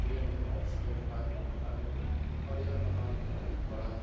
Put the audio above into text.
ये हमे आक्सिजन प्राप्त करत है और ये पहाड़ बहुत बडा है ।